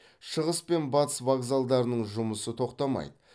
шығыс пен батыс вокзалдарының жұмысы тоқтамайды